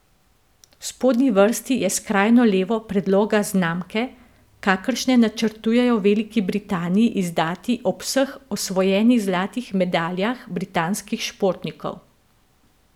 V spodnji vrsti je skrajno levo predloga znamke, kakršne načrtujejo v Veliki Britaniji izdati ob vseh osvojenih zlatih medaljah britanskih športnikov.